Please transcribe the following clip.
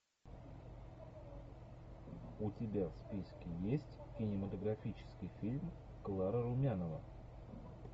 у тебя в списке есть кинематографический фильм клара румянова